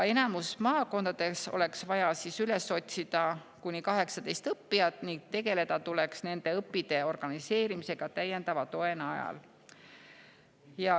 Enamikus maakondades oleks vaja üles otsida kuni 18 õppijat ning tegeleda nende õpitee organiseerimisega täiendava toe najal.